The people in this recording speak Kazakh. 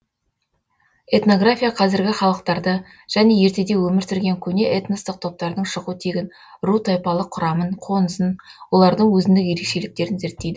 этнография қазіргі халықтарды және ертеде өмір сүрген көне этностық топтардың шығу тегін ру тайпалық құрамын қонысын олардың өзіндік ерекшеліктерін зерттейді